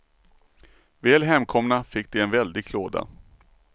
Väl hemkomna fick de en väldig klåda.